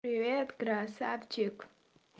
привет красавчик